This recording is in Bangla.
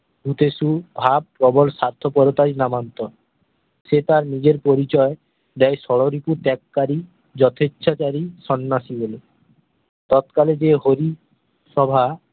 ভাত স্বার্থপরতাই নামান্তর সে তার নিজের পরিচয় দেয় ষড়রিপু ত্যাগকারী যথেচ্ছা কারী সন্ন্যাসী বলে তৎকালে যে হরি সভা